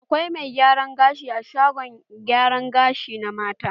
Akwai mai gyaran gashi a shagon gyara gashi na mata.